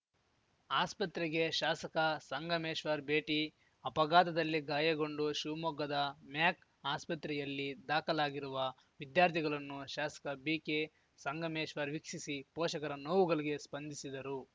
ಆಸ್ಪತ್ರೆಗೆ ಶಾಸಕ ಸಂಗಮೇಶ್ವರ್‌ ಭೇಟಿ ಅಪಘಾತದಲ್ಲಿ ಗಾಯಗೊಂಡು ಶಿವಮೊಗ್ಗದ ಮ್ಯಾಕ್ ಆಸ್ಪತೆಯಲ್ಲಿ ದಾಖಲಾಗಿರುವ ವಿದ್ಯಾರ್ಥಿಗಲನ್ನು ಶಾಸಕ ಬಿಕೆ ಸಂಗಮೇಶ್ವರ್‌ ವೀಕ್ಷಿಸಿ ಪೋಷಕರ ನೋವುಗಲಿಗೆ ಸ್ಪಂದಿಸಿದರು